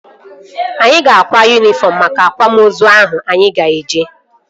Anyị ga-akwa yunifọm maka akwamozu ahụ anyị ga-eje